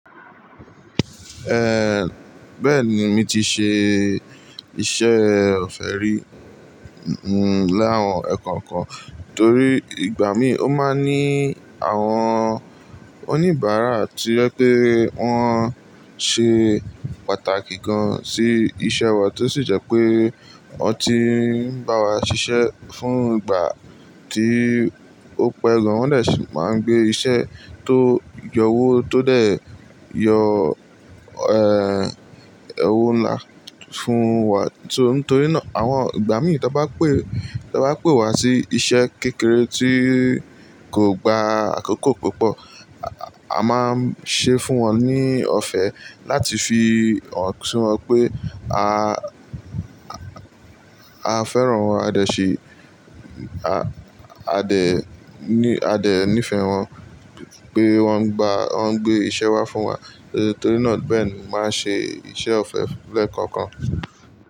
Eh, bẹ́ẹ̀ ni mi ti ṣe iṣẹ́ ọ̀fẹ́ rí, hmm, l'àwọn ẹ̀kọ̀kan torí ìgbà mí o máa ní àwọn oníbàárà tí ọ́ yẹ pé ọn ṣe pàtàkì gan sì iṣẹ́ wa tó sì jẹ́ pé ọ ti ń bá wa ṣiṣẹ́ fún ìgbà tí ó pẹ́ gan. Wọ́n dẹ ṣì máa ń gbé iṣẹ́ tó yọwó tó dẹ̀ yọ, eh, owó ńlá fún wa. So n torí náà àwọn ìgbà mí tọ bá pè tọ bá pè wa sí iṣẹ́ kékeré tí kò gba àkókò púpọ̀, a máa ń ṣe fún wọn ní ọ̀fẹ́ láti fi hàn sin wọn pé a, a fẹ́ràn wọn, a dẹ̀ ṣi, a, a dẹ̀ ní, a dẹ̀ nífẹ̀ẹ́ wọn pé wọ́n gba, wọ́n gbé iṣẹ́ wá fún wa. Torí náà bẹ́ẹ̀ ni màá ń ṣe iṣẹ́ ọ̀fẹ́ lẹ́ẹ̀kọ̀kan.